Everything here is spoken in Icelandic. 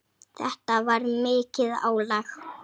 Þetta var mikið álag.